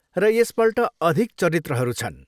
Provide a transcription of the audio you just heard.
र यसपल्ट अधिक चरित्रहरू छन्।